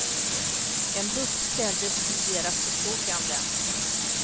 En buss ställdes till deras förfogande.